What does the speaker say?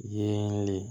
Yelen